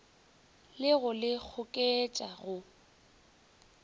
le go le goketša go